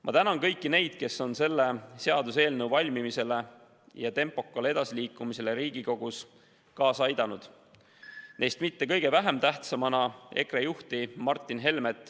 Ma tänan kõiki neid, kes on selle seaduseelnõu valmimisele ja sellega Riigikogus tempokalt edasiliikumisele kaasa aidanud, neist sugugi mitte kõige vähem tähtis pole EKRE juht Martin Helme.